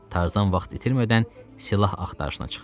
Tarzan vaxt itirmədən silah axtarışına çıxdı.